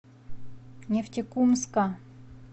нефтекумска